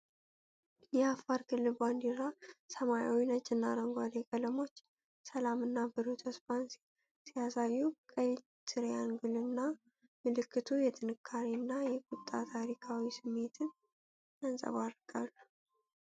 የአፋር ክልል ባንዲራ ሰማያዊ፣ ነጭና አረንጓዴ ቀለሞች ሰላም እና ብሩህ ተስፋን ሲያሳዩ፣ ቀይ ትሪያንግል እና ምልክቱ የጥንካሬ እና የቁጣ ታሪካዊ ስሜትን ያንጸባርቃሉ።